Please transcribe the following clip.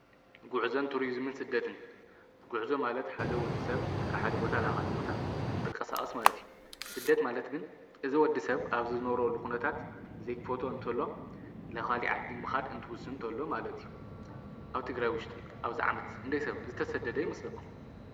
ጕዕዘን ቱርዝምን ስደትን ጕዕዞ ማለት ሓደ ወዲ ሰብ ካብሓደ ቦታ ለኻሊ ቦታ እንትቀሣኣስ ማለት እዩ ሥደት ማለት ግን እዝ ወዲ ሰብ ኣብዝዝነረሉ ዂነታት ዘይክፈቶ እንተሎ ለኻሊ ዓዲ ምኻድ እንትውስ እንተሎ ማለት እዩ ኣብ ትግራይ ውሽጢ ኣብ ዛዓመት ሕንደይሰብ ዝተሰደደ ይምስለኩ።